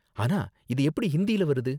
ஆனா இது எப்படி ஹிந்தியில வருது?